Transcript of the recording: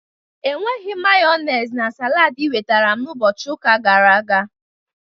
Enweghị Mayonezi na salad ị wetara m ụbọchị ụka gara aga.